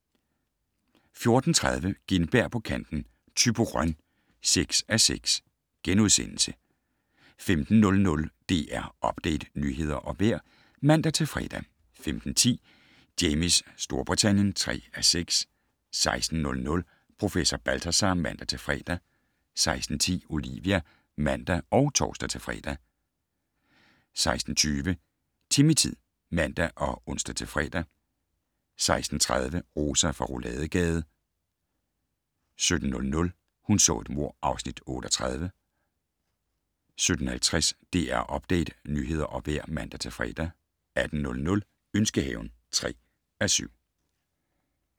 14:30: Gintberg på kanten - Thyborøn (6:6)* 15:00: DR Update - nyheder og vejr (man-fre) 15:10: Jamies Storbritannien (3:6) 16:00: Professor Balthazar (man-fre) 16:10: Olivia (man og tor-fre) 16:20: Timmy-tid (man og ons-fre) 16:30: Rosa fra Rouladegade 17:00: Hun så et mord (Afs. 38) 17:50: DR Update - nyheder og vejr (man-fre) 18:00: Ønskehaven (3:7)